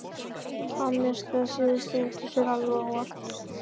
Hann missti þetta síðasta út úr sér alveg óvart.